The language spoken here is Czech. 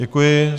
Děkuji.